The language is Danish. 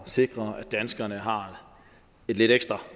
at sikre at danskerne har lidt ekstra